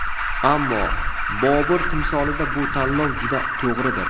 Ammo, Bobur timsolida bu tanlov juda to‘g‘ridir.